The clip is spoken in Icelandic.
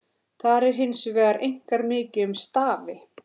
Þar er hins vegar einkar mikið um stafi.